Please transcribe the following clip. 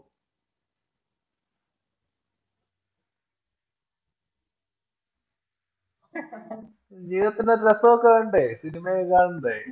ജീവിതത്തിനു ഒരു രസമൊക്കെ വേണ്ടേ, cinema യൊക്കെ കാണണ്ടേ